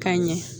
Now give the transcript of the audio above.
Ka ɲɛ